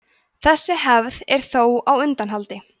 þessi hefð er þó á undanhaldi